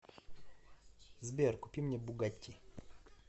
сбер купи мне бугатти